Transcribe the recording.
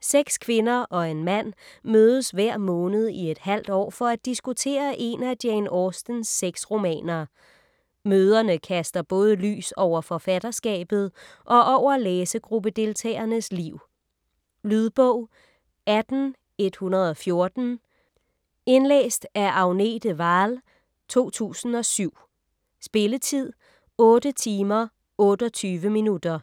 Seks kvinder og en mand mødes hver måned i et halvt år for at diskutere én af Jane Austens seks romaner. Møderne kaster både lys over forfatterskabet og over læsegruppedeltagernes liv. Lydbog 18114 Indlæst af Agnete Wahl, 2007. Spilletid: 8 timer, 28 minutter.